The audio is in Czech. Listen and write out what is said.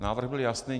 Návrh byl jasný.